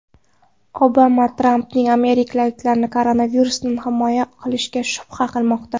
Obama Trampning amerikaliklarni koronavirusdan himoya qila olishiga shubha qilmoqda.